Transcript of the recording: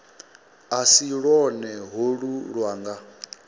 a si lwone holu lwanga